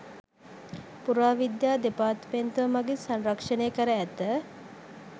පුරාවිද්‍යා දෙපාර්තමේන්තුව මගින් සංරක්‍ෂණය කර ඇත.